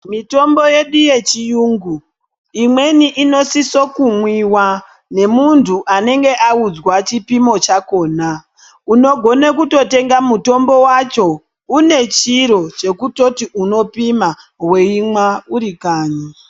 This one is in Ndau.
Mitombo yedu yechirungu imweni inosisa kumwiwa nemuntu anenge audzwa chipimo chakona unogona kutotenga mutombo wacho une chiro chekutoti unopima weimwa uri kanyi.